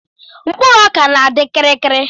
mkpụrụ ọka na-adi kirikiri